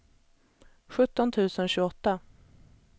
sjutton tusen tjugoåtta